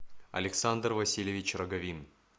александр васильевич роговин